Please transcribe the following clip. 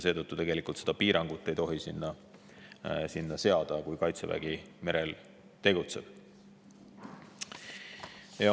Seetõttu ei tohi seda piirangut sinna seada, kui Kaitsevägi merel tegutseb.